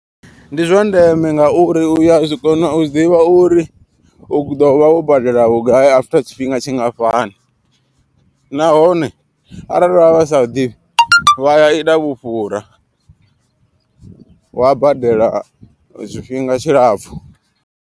Ndi zwandeme ngauri uya kona u ḓivha uri u ḓo vha wo badela vhugai after tshifhinga tshingafhani. Nahone arali vha vha sa ḓivhi vha ya ita vhufhura wa badela tshifhinga tshilapfhu.